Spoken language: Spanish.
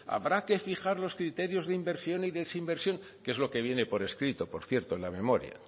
habrá que fijar los criterios de inversión y desinversión que es lo que viene por escrito por cierto en la memoria